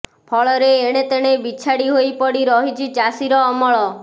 ଫଳରେ ଏଣେତେଣେ ବିଛାଡି ହୋଇ ପଡି ରହିଛି ଚାଷୀର ଅମଳ